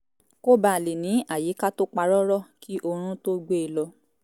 kó baà lè ní àyíká tó pa rọ́rọ́ kí orún tó gbé e lọ